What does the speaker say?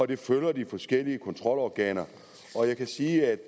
det følger de forskellige kontrolorganer og jeg kan sige at